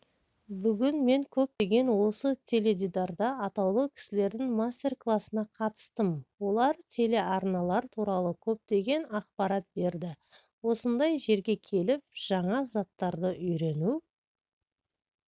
бүгін мен көптеген осы теледидарда атаулы кісілердің мастер-кластарына қатыстым олар телеарналар туралы көптеген ақпарат берді осындай жерге келіп жаңа заттарды үйрену